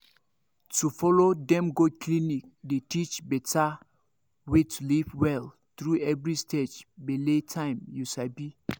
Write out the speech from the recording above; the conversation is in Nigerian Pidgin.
to follow dem go clinic dey teach better way to live well through every stage bele time you sabi